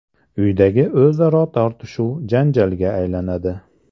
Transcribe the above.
Uydagi o‘zaro tortishuv janjalga aylanadi.